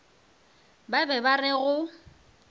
ba be ba re go